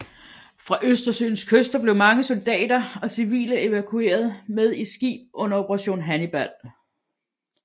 Fra Østersøens kyster blev mange soldater og civile evakueret med i skib under Operation Hannibal